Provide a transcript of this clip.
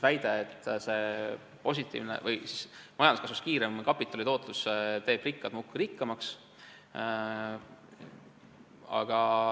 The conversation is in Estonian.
Väideti, et majanduskasvust kiirem kapitali tootlus teeb rikkad muudkui rikkamaks.